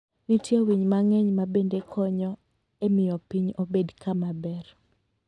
Nitie winy mang'eny ma bende konyo e miyo piny obed kama ber.